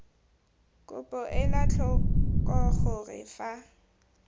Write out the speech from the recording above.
kopo ela tlhoko gore fa